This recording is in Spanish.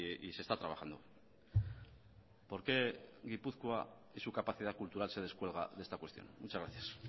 y se está trabajando por qué gipuzkoa y su capacidad cultural se descuelga de esta cuestión muchas gracias